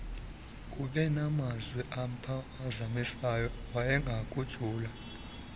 ubenamazwi amphazamisayo wayengakujula